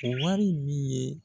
O waari min ye